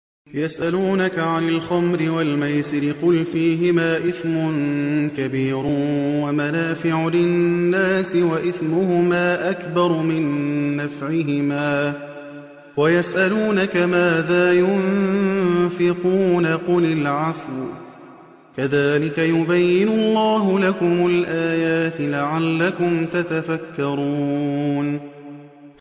۞ يَسْأَلُونَكَ عَنِ الْخَمْرِ وَالْمَيْسِرِ ۖ قُلْ فِيهِمَا إِثْمٌ كَبِيرٌ وَمَنَافِعُ لِلنَّاسِ وَإِثْمُهُمَا أَكْبَرُ مِن نَّفْعِهِمَا ۗ وَيَسْأَلُونَكَ مَاذَا يُنفِقُونَ قُلِ الْعَفْوَ ۗ كَذَٰلِكَ يُبَيِّنُ اللَّهُ لَكُمُ الْآيَاتِ لَعَلَّكُمْ تَتَفَكَّرُونَ